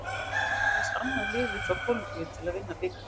Þeir voru aðeins annað liðið frá Kólumbíu til að vinna bikarinn.